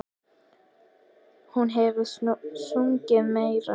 Hún hefur sungið meira.